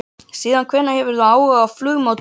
Síðan hvenær hefur þú áhuga á flugmódelum?